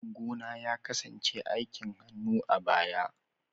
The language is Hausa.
Aikin gona ya kasance aikin hannu a baya.